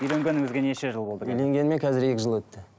үйленгеніңізге неше жыл болды үйленгеніме қазір екі жыл өтті